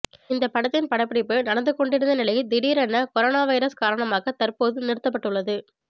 இந்த படத்தின் படப்பிடிப்பு நடந்து கொண்டிருந்த நிலையில் திடீரென கொரோனா வைரஸ் காரணமாக தற்போது நிறுத்தப்பட்டுள்ளது